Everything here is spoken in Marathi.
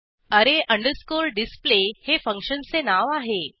array डिस्प्ले हे फंक्शनचे नाव आहे